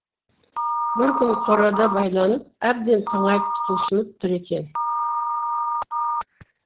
бір күн қорада байланып әбден тыңайып құлшынып тұр екен